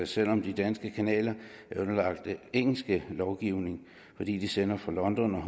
selv om de danske kanaler er underlagt engelsk lovgivning fordi de sender fra london og